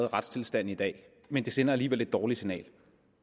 retstilstanden i dag men det sender alligevel et dårligt signal